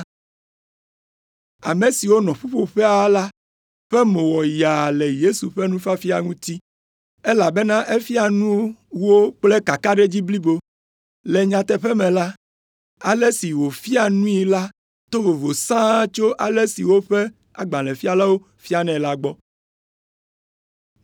Ame siwo nɔ ƒuƒoƒea la ƒe mo wɔ yaa le Yesu ƒe nufiafia ŋuti, elabena efia nu wo kple kakaɖedzi blibo. Le nyateƒe me la, ale si wòfia nui la to vovo sãa tso ale si woƒe agbalẽfialawo fianɛ la gbɔ.